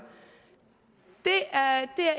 er